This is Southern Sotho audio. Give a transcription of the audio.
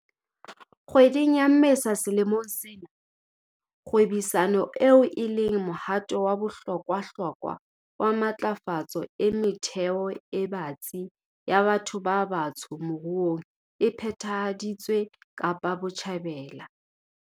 Kgweding ya Mmesa selemong sena, kgwebisano eo e leng mohato wa bohlokwahlokwa wa matlafatso e metheo e batsi ya batho ba batsho moruong e phethahaditswe Kapa Botjhabela.